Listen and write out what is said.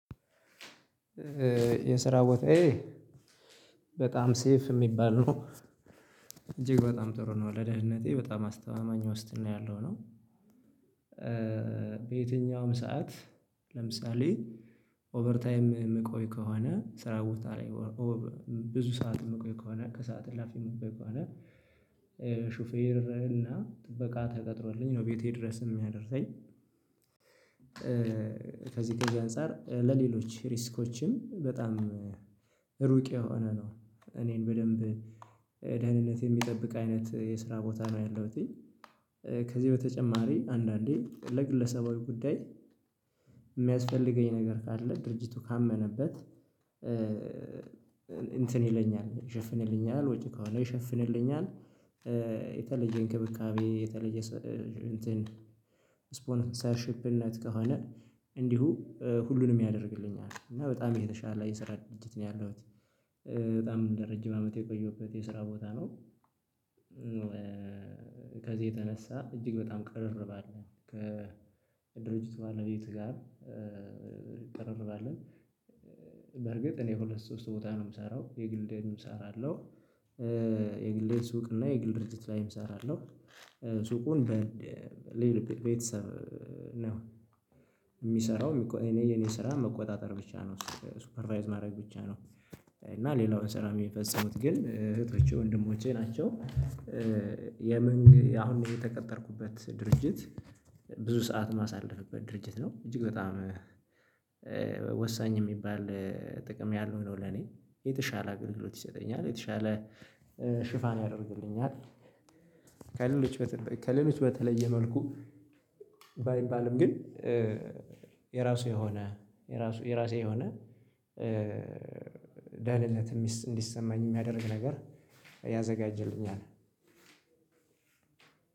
የስራ ቦታዬ በጣም ሴፍ የሚባል ነው እጅግ በጣም ጥሩ ነው ለደህንነቴ በጣም አስተማማኝ ውስጥ ነው ያለው ነው። በየትኛውም ሰዓት ለምሳሌ ኦቨር ታይም የምቆይ ከሆነ ስራ ቦታዬ ብዙ ሰዓት የምቆይ ከሆነ ከሰአት ላፊ የምቆይ ከሆነ ሹፌርና ጥበቃ ተቀጥሮልኝ ነው ቤቴ ድረስ የሚያደርሰኝ። ከዚህ ከዚህ አንፃር ለሌሎች ሪስኮችም በጣም ሩቅ የሆነ ነው እኔን በደንብ ደህንነት የሚጠብቅ አይነት የስራ ቦታ ነው ያለሁት። ከዚህ በተጨማሪ አንዳንዴ ለግለሰባዊ ጉዳይ የሚያስፈልገኝ ነገር ካለ ድርጅቱ ካመነበት እንትን ይለኛል ይሸፍንልኛል ወጪ ከሆነ ይሸፍንልኛል። የተለየ እንክብካቤ የተለየ እንትን ስፖንሰርሺፕነት ከሆነ እንዲሁ ሁሉንም ያደርግልኛል እና በጣም የተሻለ የስራ ድርጅት ነው ያለሁት። በጣም እንደ ረጅም አመት የቆየሁበት የስራ ቦታ ነው። ከዚህ የተነሳ እጅግ በጣም ከረር ባለ ከድርጅቱ ባለቤት ጋር እንቀራረባለን። በርግጥ እኔ ሁለት ሶስት ቦታ ነው የምሰራው የግሌንም እሰራለሁ። የግሌን ሱቅ እና የግል ድርጅት ላይም እሰራለሁ። ሱቁን በሌላ ቤተሰብ ነው የሚሰራው። የኔ ስራ መቆጣጠር ብቻ ነው ሱፐርቫይዝ ማድረግ ብቻ ነው እና ሌላውን ስራ የሚፈጽሙት ግን እህቶቼ ወንድሞቼ ናቸው። የመንግ ያሁን የተቀጠርኩበት ድርጅት ብዙ ሰዓት ማሳለፍበት ድርጅት ነው እጅግ በጣም ወሳኝ የሚባል ጥቅም ያለው ነው። ለኔ የተሻለ አገልግሎት ይሰጠኛል የተሻለ ሽፋን ያደርግልኛል። ከሌሎች በተለየ መልኩ ባይባልም ግን የራሱ የሆነ የራሱ የራሴ የሆነ ደህንነት እንዲሰማኝ የሚያደርግ ነገር ያዘጋጅልኛል።